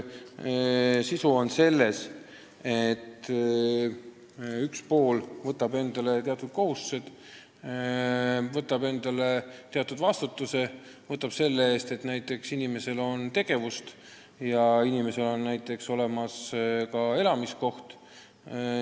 Sisu on see, et üks pool võtab endale teatud kohustused, võtab endale teatud vastutuse, näiteks selle eest, et inimesel on tegevust ja muidugi ka elamiskoht.